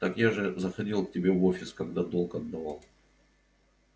так я же заходил к тебе в офис когда долг отдавал